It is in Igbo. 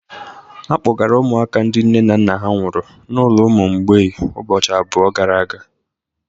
A kpọgara ụmụaka ndị nne na nna ha nwụrụ n'ulo ụmụ mgbei ụbọchị abụọ gara aga.